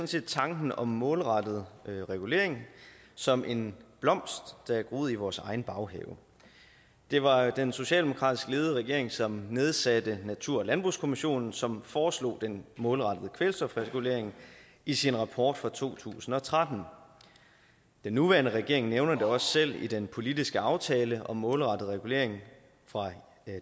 set tanken om målrettet regulering som en blomst der er groet i vores egen baghave det var den socialdemokratisk ledede regering som nedsatte natur og landbrugskommissionen som foreslog den målrettede kvælstofregulering i sin rapport fra to tusind og tretten den nuværende regering nævner det også selv i den politiske aftale om målrettet regulering fra